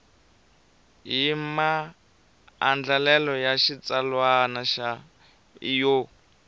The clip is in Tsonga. hi maandlalelo ya xitsalwana yo